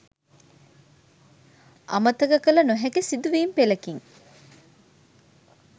අමතක කළ නොහැකි සිදුවීම් පෙළකින්